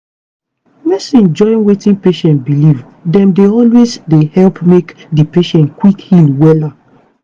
pause-- medicine join wetin patient believe dem dey always dey help make di patient quick heal wella.